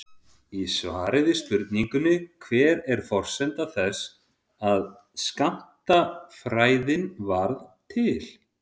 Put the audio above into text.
Í svari við spurningunni Hver er forsenda þess að skammtafræðin varð til?